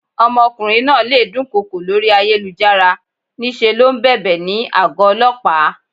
Ọmọkùnrin náà le dún kokò lórí ayélujára, ní ṣe ló ń bèbè ní àgó Ọlọ́pàá.